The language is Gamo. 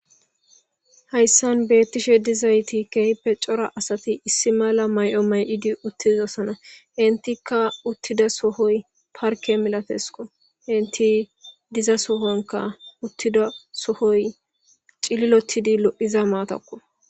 Hayisan betishe dizayis kehipe coora asati issi mala mayo mayidi utidosona enitika utza sohoy farikey milatesko intidiza sohanika cililotizi loiza matako